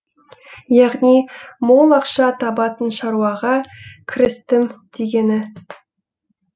яғни мол ақша табатын шаруаға кірістім дегені